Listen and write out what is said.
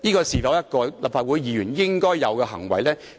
是否立法會議員應有的行為呢？